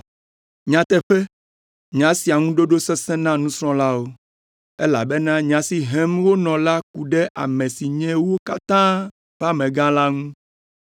Nyateƒe, nya sia ŋu ɖoɖo sesẽ na nusrɔ̃lawo, elabena nya si hem wonɔ la ku ɖe ame si nye wo katã ƒe amegã la ŋu.